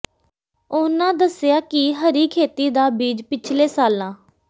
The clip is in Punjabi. ਉਨਾਂ ਦੱਸਿਆ ਕਿ ਹਰੀ ਖੇਤੀ ਦਾ ਬੀਜ ਪਿਛਲੇ ਸਾਲਾਂ